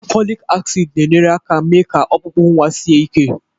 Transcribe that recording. Folic acid na-enyere aka mee ka ọkpụkpụ nwa sie ike